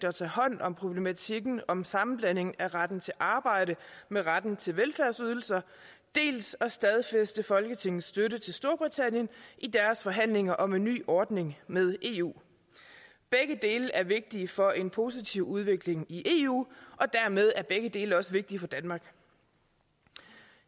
at tage hånd om problematikken om sammenblanding af retten til arbejde med retten til velfærdsydelser dels at stadfæste folketingets støtte til storbritannien i deres forhandlinger om en ny ordning med eu begge dele er vigtige for en positiv udvikling i eu og dermed er begge dele også vigtige for danmark